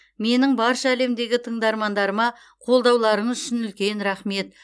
менің барша әлемдегі тыңдармандарыма қолдауларыңыз үшін үлкен рақмет